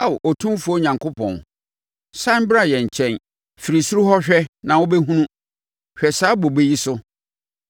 Ao Otumfoɔ Onyankopɔn, sane bra yɛn nkyɛn! Firi soro hɔ hwɛ na wobɛhunu! Hwɛ saa bobe yi so,